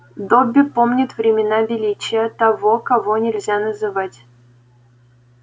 добби помнит времена величия того кого нельзя называть